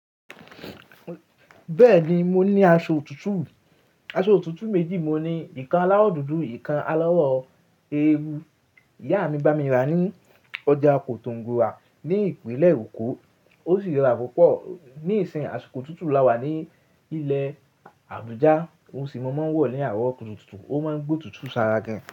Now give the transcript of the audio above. Bẹ́ẹ̀ni, mo ní aṣọ otuotu. Aṣọ otutu méjì mejí: ìkan alawọ dúdú, ìkan alawọ eérú. Ìyá mi bá mi rà ní ọjà Kòtòngbur ní ìpínlẹ̀ Èkó. Ó sì rà púpọ̀ ní ìsìn àsìkò tuntun là wà ní ilẹ̀ Àbújá. Ohun sì mo máa ń wọ̀ ní àárọ̀ tuntun. Ó máa ń gbó tuntun ṣára gan.